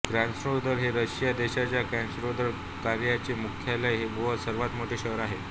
Krasnodar हे Russia देशाच्या Krasnodar क्रायचे मुख्यालय व सर्वात मोठे शहर आहे